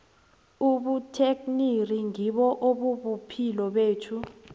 ubutekniri ngibo obubuphilo bethu